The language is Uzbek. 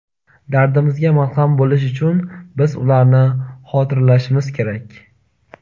Dardimizga malham bo‘lishi uchun biz ularni xotirlashimiz kerak.